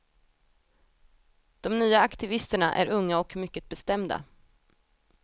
De nya aktivisterna är unga och mycket bestämda.